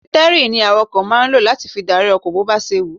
Sítẹ́rìnì ni àwàkọ̀ máa ń lọ láti fi dárí ọkọ̀ bó ba ṣe wù-ú.